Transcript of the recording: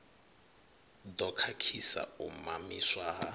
ḓo khakhisa u mamiswa ha